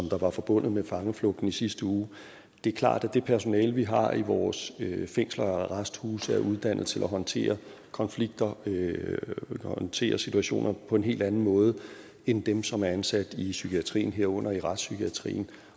var forbundet med fangeflugten i sidste uge det er klart at det personale vi har i vores fængsler og arresthuse er uddannet til at håndtere konflikter håndtere situationer på en helt anden måde end dem som er ansat i psykiatrien herunder i retspsykiatrien